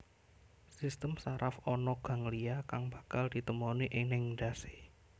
Sistem saraf ana ganglia kang bakal ditemoni ning endhasé